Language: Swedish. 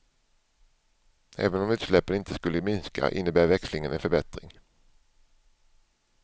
Även om utsläppen inte skulle minska innebär växlingen en förbättring.